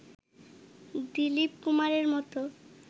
দিলীপ কুমারের মতো